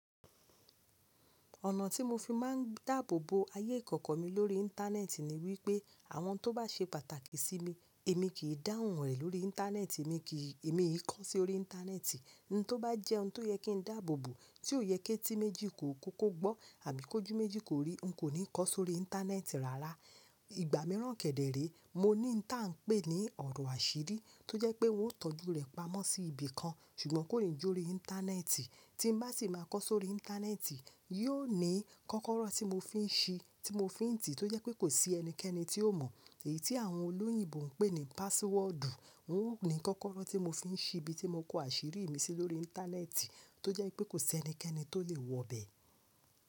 Ọ̀nà tí mo fi máa ń dáàbò bo ayé ìkọ̀kọ̀ mi lórí Íńtánẹ́ẹ̀tì ni wípé àwọn tó bá ṣe pàtàkì sí mi èmi kì í dáhùn rẹ̀ lórí Íńtánẹ́ẹ̀tì, èmi kì í kọ sí orí Íńtánẹ́ẹ̀tì. Ohun tó bá jẹ́ ohun tó yẹ kí n dáàbò bo tí ò yẹ kí tí méjì kó kóko gbọ́ àbí kó jú méjì kó rí, n kò ní kọ sórí Íńtánẹ́ẹ̀tì rárá. Ìgbà mìíràn kẹ̀dẹ̀ ré, mo ní nǹkan tí à ń pè ní ọ̀rọ̀ àṣírí tí ó jẹ́ pé wọn ó tọ́jú rẹ̀ pamọ́ sí ibi kan ṣùgbọ́n kò ní jọ́ rí Íńtánẹ́ẹ̀tì. Tí n bá sì máa kọ sórí Íńtánẹ́ẹ̀tì, yóò ní kọ́kọ́rọ́ tí mo fi ń ṣí tí mo fi ń tì tí ó jẹ́ pé kò sí ẹnikẹ́ni tí ó mọ̀. Èyí tí àwọn olóyìnbo ń pè ní pásiwọ́ọ̀dù. N ó ní kọ́kọ́rọ́ tí mo fi ń ṣí ibi tí mo kó àṣírí mi sí lórí Íńtánẹ́ẹ̀tì tó jẹ́ pé kò sí ẹnikẹ́ni tó lè wọ bẹ́ẹ̀.